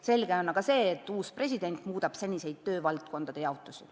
Selge on aga see, et uus president muudab senist töövaldkondade jaotust.